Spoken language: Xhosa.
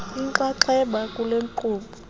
inxaxheba kule nkqubo